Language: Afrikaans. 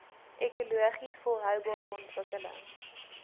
ekologies volhoubare ontwikkeling